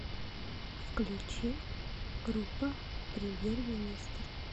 включи группа премьер министр